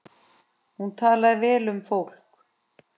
Hún talaði vel um fólk.